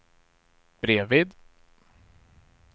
bredvid